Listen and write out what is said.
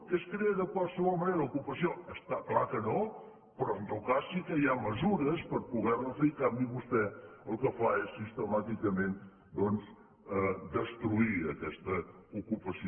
que es crea de qualsevol manera l’ocupació està clar que no però en tot cas sí que hi ha mesures per poder ne fer i en canvi vostè el que fa és sistemàticament doncs destruir aquesta ocupació